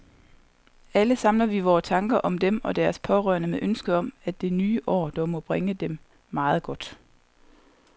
Alle samler vi vore tanker om dem og deres pårørende med ønsket om, at det nye år dog må bringe dem meget godt.